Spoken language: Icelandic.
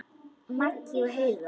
Maggi og Heiða.